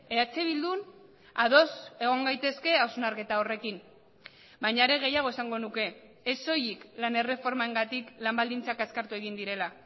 eh bildun ados egon gaitezke hausnarketa horrekin baina are gehiago esango nuke ez soilik lan erreformengatik lan baldintzak azkartu egin direla